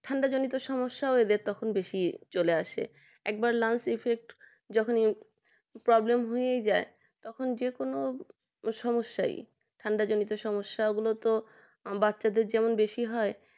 ঠান্ডা জনিত সমস্যা এদেরতখন বেশি চলে আসে একবার ল্যান্স effect যখন problem হয়ে যায় তখন যেকোন সমস্যায় ঠান্ডা জনিত সমস্যা গুলো বাচ্চারা যেন বেশি হয়